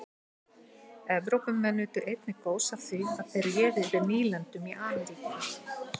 evrópumenn nutu einnig góðs af því að þeir réðu yfir nýlendum í ameríku